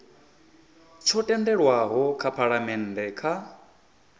tsho tendelwaho nga phalamennde kha